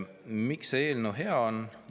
Miks see eelnõu hea on?